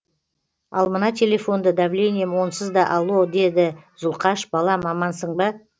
ал мына телефонды давлением онсыз да алло деді зұлқаш балам амансың ба